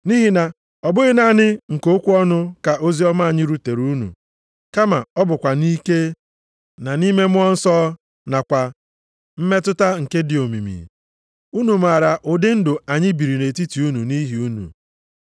Nʼihi na ọbụghị naanị nke okwu ọnụ ka oziọma anyị rutere unu, kama ọ bụkwa nʼike, na nʼime Mmụọ Nsọ nakwa mmetụta nke dị omimi. Unu maara ụdị ndụ + 1:5 Ụdị mmadụ anyị bụ nʼetiti unu anyị biri nʼetiti unu nʼihi unu.